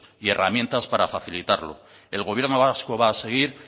y herramientas para facilitarlo el gobierno vasco va a seguir